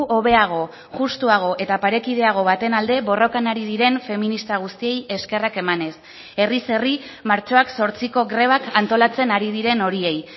hobeago juxtuago eta parekideago baten alde borrokan ari diren feminista guztiei eskerrak emanez herriz herri martxoak zortziko grebak antolatzen ari diren horiei